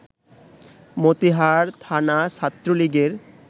মতিহার থানা ছাত্রলীগের